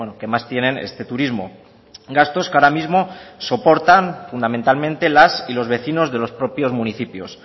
que más tienen este turismo gastos que ahora mismo soportan fundamentalmente las y los vecinos de los propios municipios